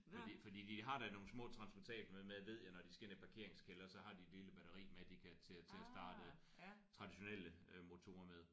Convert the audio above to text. Fordi fordi de har da nogle små transportable med ved jeg når de skal ind i parkeringskælder så har de et lille batteri med de kan til til at starte traditionelle motorer med